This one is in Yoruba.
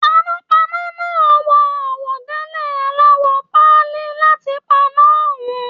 Panápaná náà wọ àwọ̀délẹ̀ alawọ páálí láti paná ọhùn.